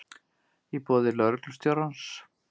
í boði lögreglustjórans.